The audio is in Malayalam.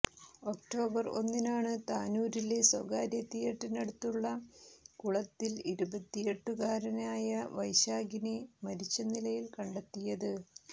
ഒക്ടോബർ ഒന്നിനാണ് താനൂരിലെ സ്വകാര്യ തിയറ്ററിനടുത്തുള്ള കുളത്തിൽ ഇരുപത്തിയെട്ടുകാരനായ വൈശാഖിനെ മരിച്ച നിലയിൽ കണ്ടെത്തിയത്